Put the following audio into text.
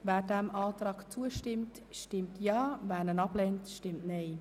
Wer dem Verpflichtungskredit zustimmt, stimmt Ja, wer diesen ablehnt, stimmt Nein.